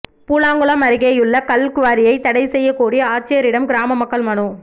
பூலாங்குளம் அருகேயுள்ள கல்குவாரியை தடை செய்யக்கோரி ஆட்சியரிடம் கிராம மக்கள் மனு